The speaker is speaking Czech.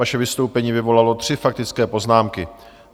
Vaše vystoupení vyvolalo tři faktické poznámky.